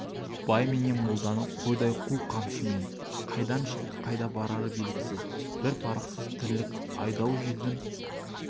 бай менен молданы қойдай қу қамшымен қайдан шығып қайда барары белгісіз бір парықсыз тірлік айдау желдің